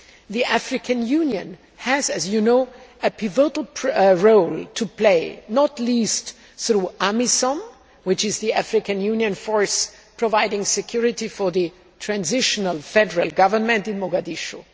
The African Union has, as you know, a pivotal role to play, not least through AMISOM, which is the African Union force providing security for the transitional federal government in Mogadishu.